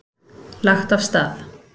Lagt af stað